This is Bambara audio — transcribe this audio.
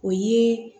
O ye